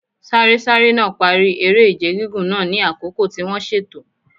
Sárésáré náà parí eré-ìje gígùn náà ní àkókò tí wọ́n ṣètò.